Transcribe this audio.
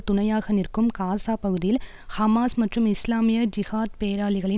துணையாக நிற்கும் காசா பகுதியில் ஹமாஸ் மற்றும் இஸ்லாமிய ஜிஹாத் பேராளிகளின்